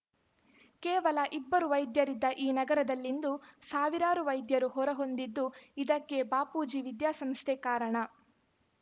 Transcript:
ಕೇವಲ ಇಬ್ಬರು ವೈದ್ಯರಿದ್ದ ಈ ನಗರದಲ್ಲಿಂದು ಸಾವಿರಾರು ವೈದ್ಯರು ಹೊರ ಹೊಂದಿದ್ದು ಇದಕ್ಕೆ ಬಾಪೂಜಿ ವಿದ್ಯಾಸಂಸ್ಥೆ ಕಾರಣ